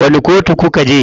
Wani kotu kuka je?